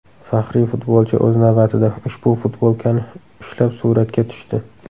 Faxriy futbolchi o‘z navbatida ushbu futbolkani ushlab suratga tushdi.